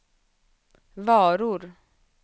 varor